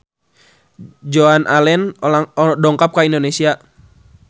Joan Allen dongkap ka Indonesia